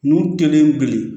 N'u kelen be ye